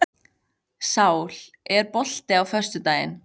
Sál, er bolti á föstudaginn?